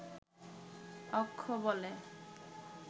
অক্ষ বলে